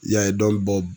I y'a ye dɔn